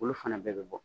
Olu fana bɛɛ bɛ bɔ